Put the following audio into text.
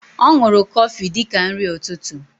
O nuru Kofi dika nri ututu.